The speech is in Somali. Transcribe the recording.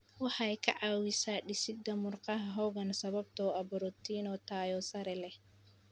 Waxay ka caawisaa dhisidda murqaha xooggan sababtoo ah borotiinno tayo sare leh.